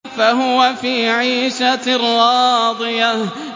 فَهُوَ فِي عِيشَةٍ رَّاضِيَةٍ